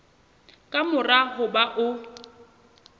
ka mora ho ba o